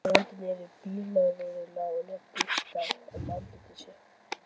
Hann renndi niður bílrúðunni og lét gusta um andlit sér.